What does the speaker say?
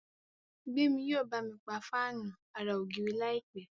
Gbemi yíò bámi pá Fáànù àrà ògiri láìpé.